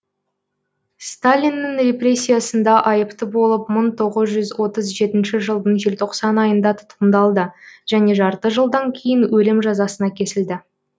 сталиннің репрессиясында айыпты болып мың тоғыз жүз отыз жетінші жылдың желтоқсан айында тұтқындалды және жарты жылдан кейін өлім жазасына кесілді